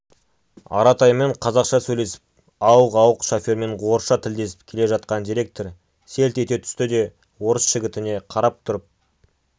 аратаймен қазақша сөйлесіп ауық-ауық шофермен орысша тілдесіп келе жатқан директор селт ете түсті де орыс жігітіне қарап тұрып